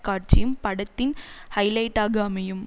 காட்சியும் படத்தின் ஹைலைட்டாக அமையும்